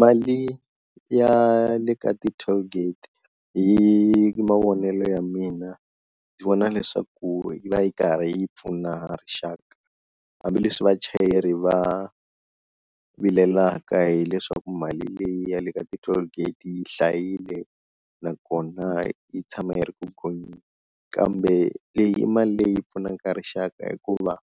Mali ya le ka ti-tollgate hi mavonelo ya mina ndzi vona leswaku yi va yi karhi yi pfuna rixaka, hambileswi vachayeri va vilelaka hileswaku mali leyi ya le ka ti-tollgate yi hlayile nakona yi tshama yi ri ku gonyeni, kambe leyi mali leyi pfunaka rixaka hikuva